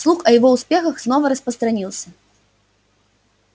слух о его успехах снова распространился